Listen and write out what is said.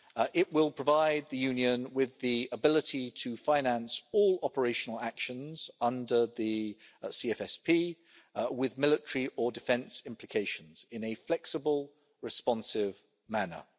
It will provide the Union with the ability to finance all operational actions under the Common Foreign and Security Policy with military or defence implications in a flexible, responsive manner.